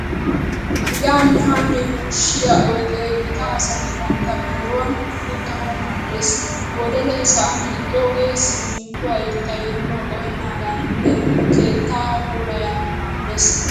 Yaanne haanne yuushshiya oyidee gita asati bantta biiruwan uttanawu maaddes. Wolelee sa'an hiixxoogee siminttuwa irxxay nuna qohennaadaninne keettaa puulayanawu maaddes.